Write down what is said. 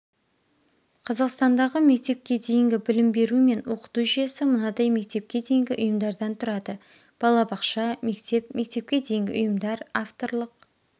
қазақстандағы мектепке дейінгі білім беру мен оқыту жүйесі мынадай мектепке дейінгі ұйымдардан тұрады балабақша мектеп мектепке дейінгі ұйымдар авторлық